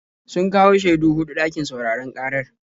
Sun kawo shaidu huɗu ɗakin sauraron ƙarar.